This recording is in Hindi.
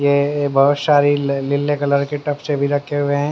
ये बहुत सारी लीले कलर के टफ से भी रखे हुए हैं।